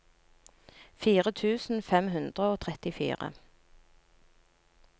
fire tusen fem hundre og trettifire